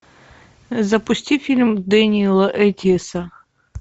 запусти фильм дэниэла эттиэса